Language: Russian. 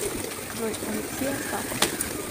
джой алексей астапов